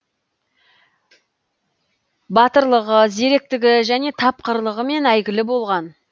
батырлығы зеректігі және тапқырлығымен әйгілі болған